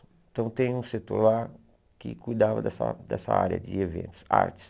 Então tem um setor lá que cuidava dessa dessa área de eventos, artes.